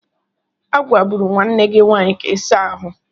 A gwaburu nwanne gị ka ịsa ahụ.